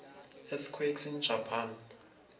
earthquakes in japan